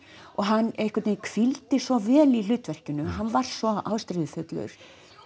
og hann einhvern veginn hvíldi svo vel í hlutverkinu hann var svo ástríðufullur